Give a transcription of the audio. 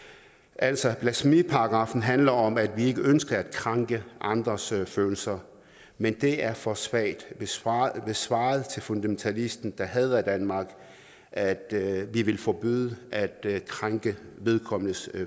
altså blasfemiparagraffen handler om at vi ikke ønsker at krænke andres følelser men det er for svagt hvis svaret svaret til fundamentalisten der hader danmark er at vi vil forbyde at krænke vedkommendes